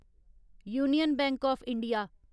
union Bank of India